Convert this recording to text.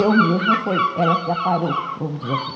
Eu mesma foi ela que aparou, vamos dizer assim.